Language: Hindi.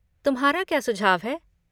तुम्हारा क्या सुझाव है?